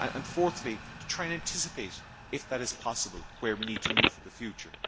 Fourthly, to try and anticipate, if that is possible, where we need to move in the future.